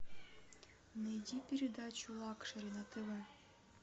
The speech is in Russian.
найди передачу лакшери на тв